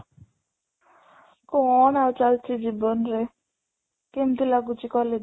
କ'ଣ ଆଉ ଚାଲିଚି ଜୀବନ ରେ, କେମିତି ଲାଗୁଛି college?